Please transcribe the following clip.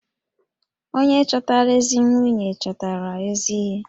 Onye chọtara ezi nwunye, chọtara ezi ihe